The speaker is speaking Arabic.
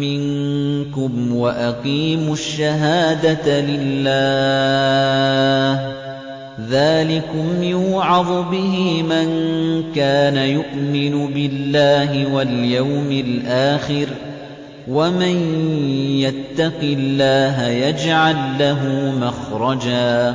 مِّنكُمْ وَأَقِيمُوا الشَّهَادَةَ لِلَّهِ ۚ ذَٰلِكُمْ يُوعَظُ بِهِ مَن كَانَ يُؤْمِنُ بِاللَّهِ وَالْيَوْمِ الْآخِرِ ۚ وَمَن يَتَّقِ اللَّهَ يَجْعَل لَّهُ مَخْرَجًا